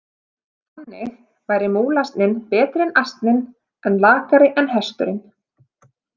Þannig væri múlasninn betri en asninn en lakari en hesturinn.